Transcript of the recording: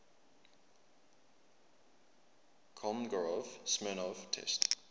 kolmogorov smirnov test